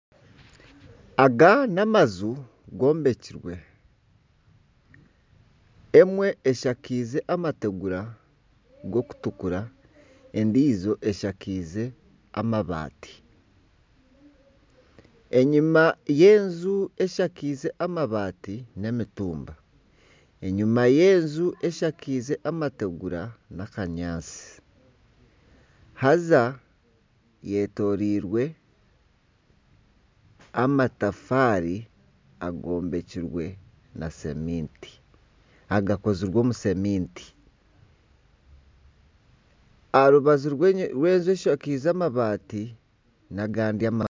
Aga n'amaju gombekire emwe eshakaize amategura garikutukura endiijo eshakaize amabati, enyima y'enju eshakaize amabati n'emitumba, enyima y'enju eshakaize amategura n'akanyaatsi hanza hetoreirwe n'amatafaari agakozirwe omu ceminti aha rubaju rw'enju eshakairwe amabati n'agandi amaju